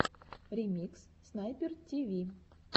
ремикс снайпер тиви